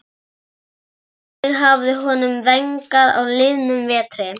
Hvernig hafði honum vegnað á liðnum vetri?